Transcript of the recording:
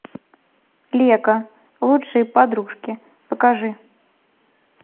лего лучшие подружки покажи